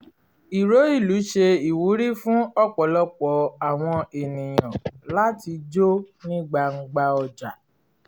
ìró ìlú ṣe ìwúrí fún ọ̀pọ̀lọpọ̀ àwọn ènìyàn láti jó ní gbangba ọjà